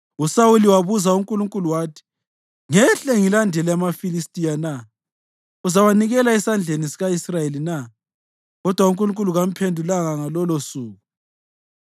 USawuli wabuza uNkulunkulu wathi, “Ngehle ngilandele amaFilistiya na? Uzawanikela esandleni sika-Israyeli na?” Kodwa uNkulunkulu kamphendulanga ngalolosuku.